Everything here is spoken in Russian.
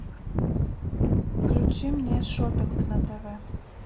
включи мне шоппинг на тв